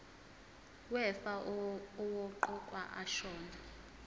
wefa owaqokwa ashona